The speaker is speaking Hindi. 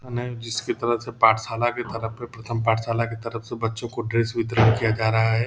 जिसके तरफ से पाठशाला की तरफ से प्रथम पाठशाला की तरफ से बच्चों को ड्रेस वितरण किया जा रहा है।